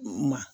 Ma